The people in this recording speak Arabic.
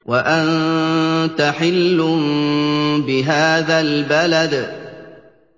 وَأَنتَ حِلٌّ بِهَٰذَا الْبَلَدِ